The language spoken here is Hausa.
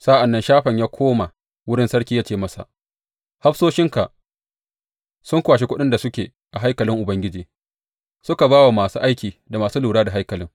Sa’an nan Shafan ya koma wurin sarki ya ce masa, Hafsoshinka sun kwashe kuɗin da suke a haikalin Ubangiji, suka ba wa masu aiki da masu lura da haikalin.